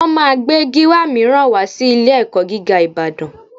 Wọ́n máa gbé Gíwá mìíràn wá sí ilé-ẹ̀kọ́ gíga Ìbàdàn